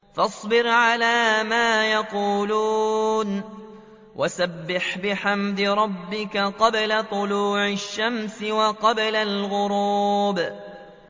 فَاصْبِرْ عَلَىٰ مَا يَقُولُونَ وَسَبِّحْ بِحَمْدِ رَبِّكَ قَبْلَ طُلُوعِ الشَّمْسِ وَقَبْلَ الْغُرُوبِ